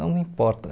Não me importa.